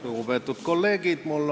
Lugupeetud kolleegid!